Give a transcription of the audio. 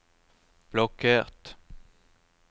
blokkert